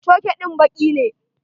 Coke din baki ne.